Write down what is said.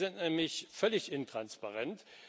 Die sind nämlich völlig intransparent.